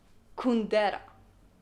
Kundera!